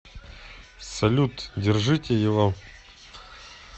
салют держите его